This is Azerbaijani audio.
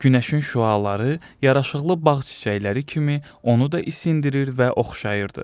Günəşin şüaları yaraşıqlı bağ çiçəkləri kimi onu da isindirir və oxşayırdı.